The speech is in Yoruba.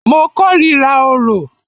Mo kòrira orò.